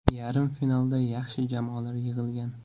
Yarim finalda yaxshi jamoalar yig‘ilgan.